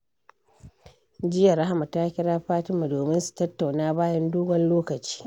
Jiya, Rahama ta kira Fatima domin su tattauna bayan dogon lokaci.